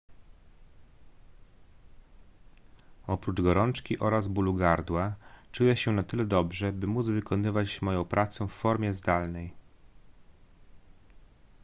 oprócz gorączki oraz bólu gardła czuję się na tyle dobrze by móc wykonywać moją pracę w formie zdalnej